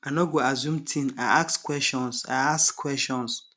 i no go assume ting i ask questions i ask questions